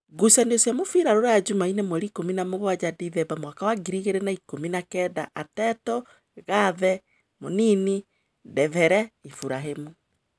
Ngucanio cia mũbira Ruraya Jumaine mweri ikũmi namũgwanja Ndithemba mwaka wa ngiri igĩrĩ na ikũmi nakenda: Ateto, Cate, Mũnini, Ndembere, Iburahĩmi